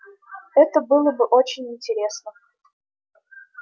это было бы очень интересно